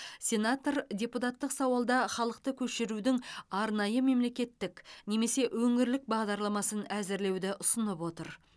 сенатор депутаттық сауалда халықты көшірудің арнайы мемлекеттік немесе өңірлік бағдарламасын әзірлеуді ұсынып отыр